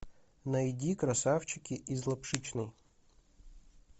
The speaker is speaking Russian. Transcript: найди красавчики из лапшичной